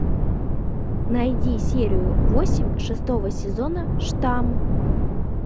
найди серию восемь шестого сезона штамм